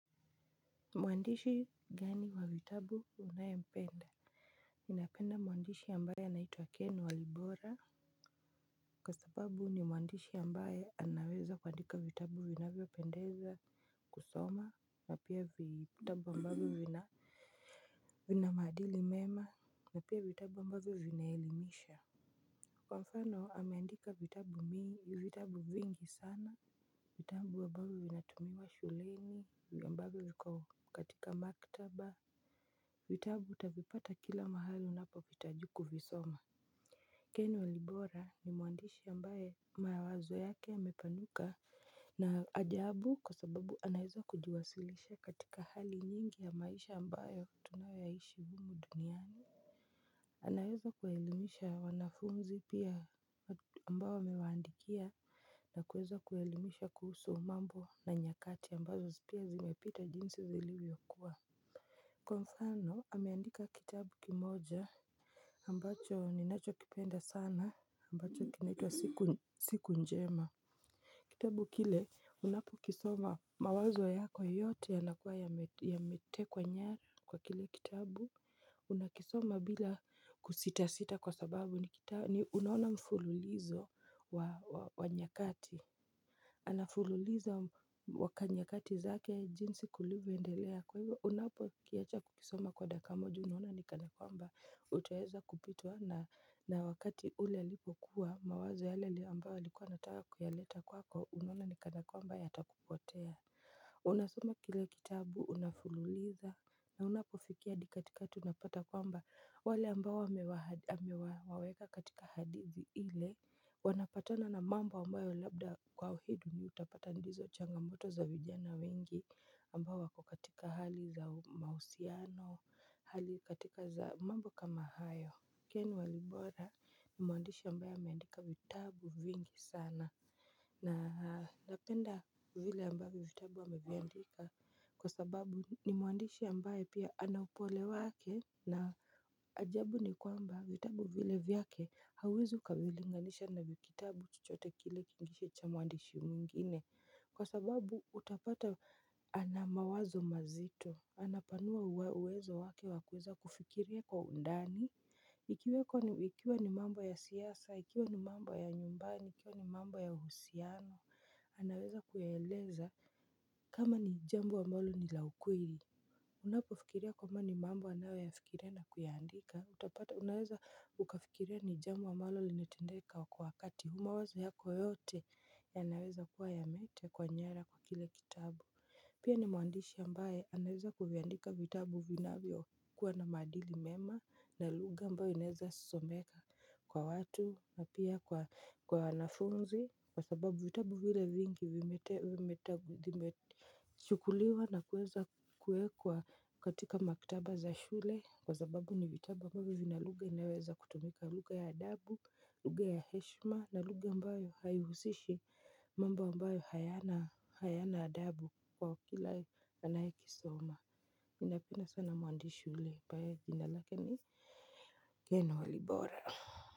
Mwandishi gani wa vitabu unayempenda ninapenda mwandishi ambaye anaitwa ken walibora. Kwa sababu ni mwandishi ambaye anaweza kuandika vitabu vinavyo pendeza kusoma na pia vitabu ambavyo vina vina maadili mema na pia vitabu ambavyo vinaelimisha. Kwa mfano ameandika vitabu vitabu vingi sana. Vitabu ambavyo vinatumiwa shuleni ambavyo viko katika maktaba. Vitabu utavipata kila mahali unapovihitaji kuvisoma Ken walibora ni mwandishi ambaye mawazo yake yamepanuka. Na ajabu kwa sababu anaweza kujiwasilisha katika hali nyingi ya maisha ambayo tunayoyaishi humu duniani. Anaeza kuwaelimisha wanafunzi pia ambao amewaandikia na kueza kuwaelimisha kuhusu mambo na nyakati ambazo pia zimepita jinsi zilivyokua. Kwa mfano, ameandika kitabu kimoja ambacho ninacho kipenda sana, ambacho kinaitwa siku njema. Kitabu kile, unapo kisoma mawazo yako yote yanakua yametekwa nyara kwa kile kitabu. Unakisoma bila kusitasita kwa sababu ni unaona mfululizo wa nyakati. Anafululiza nyakati zake jinsi kulivyoendelea kwa hivyo unapo kiacha kukisoma kwa dakika moja unaona nikana kwamba utaeza kupitwa na wakati ule alipokuwa mawazo yale ambayo likuwa anataka kuyaleta kwako unuona nikana kwamba yatakupotea. Unasoma kile kitabu unafululiza na unapofikia adi katikati unapata kwamba wale ambao amewaweka katika hadithi ile wanapatana na mambo ambayo labda kwa hii dunia utapata ndizo changamoto za vijana wengi ambao wako katika hali za mahusiano, hali katika za mambo kama hayo Ken Walibora ni mwandishi ambaye ameandika vitabu vingi sana. Na napenda vile ambavyo vitabu ameviandika kwa sababu ni mwandishi ambaye pia anaupole wake na ajabu ni kwamba vitabu vile vyake hauezi ukavilinganisha na kitabu chochote kile kingishe cha mwandishi mwingine. Kwa sababu utapata anamawazo mazito, anapanua uwezo wake wa kuweza kufikiria kwa undani. Ikiweko ikiwa ni mambo ya siasa, ikiwa ni mambo ya nyumbani, ikiwa ni mambo ya uhusiano, anaweza kuyaeleza kama ni jambo ambalo ni la ukweli. Unapofikiria kwamba ni mambo anayoyafikiria na kuyaandika utapata unaweza ukafikiria ni jambo ambalo linatendeka kwa wakati huu mawazo yako yote yanaweza kuwa yametekwa nyara kwa kile kitabu pia ni mwandishi ambaye anaeza kuviandika vitabu vinavyo kuwa na maadili mema na lugha ambayo inaweza someka kwa watu na pia kwa wanafunzi kwa sababu vitabu vile vingi vimete vimeta vimechukuliwa na kuweza kuwekwa katika maktaba za shule kwa sababu ni vitabu ambavyo vina lugha inayoweza kutumika lugha ya adabu lugha ya heshima na lugha ambayo haihusishi mambo ambayo hayana hayana adabu kwa kila anayekisoma ninapenda sana mwandishi ule ambaye jina lake ni ken walibora.